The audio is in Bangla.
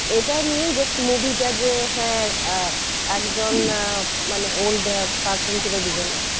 এটা নিয়েই just movie টা যে হ্যাঁ আহ একজন মানে old parson ছিল দুজন